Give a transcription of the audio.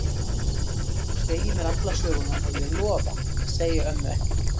Þú segir mér alla söguna og ég lofa því að segja ömmu ekkert.